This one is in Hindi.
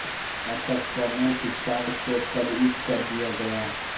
अतः कर्नल पीकार्ट को पदच्युत कर दिया गया